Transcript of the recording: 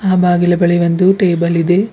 ಆ ಬಾಗಿಲು ಬಳಿ ಒಂದು ಟೇಬಲ್ ಇದೆ.